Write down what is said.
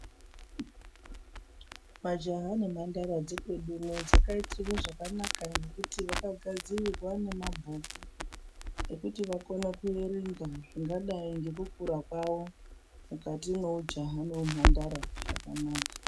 Majaha nemhandara dzekwedu uno dzakaitirwa zvakanaka nekuti vakagadzirirwa nemabhuku, ekuti vakone kuverenga zvingadai ngekukura kwavo mwukati mweujaha neumhandara zvakanaka.